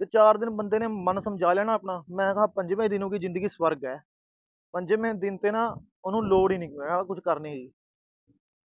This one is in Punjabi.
ਜੇ ਚਾਰ ਦਿਨ ਬੰਦੇ ਨੇ ਮਨ ਸਮਝਾ ਲਿਆ ਨਾ ਆਪਣਾ, ਮੈਂ ਕਿਹਾ ਪੰਜਵੇਂ ਦਿਨ ਉਹਦੀ ਜਿੰਦਗੀ ਸਵਰਗ ਆ। ਪੰਜਵੇਂ ਦਿਨ ਉਹਨੂੰ ਲੋੜ ਈ ਨੀ, ਆਹ ਕੁਛ ਕਰਨੇ ਦੀ।